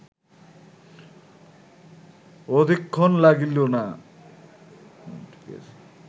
অধিকক্ষণ লাগিল না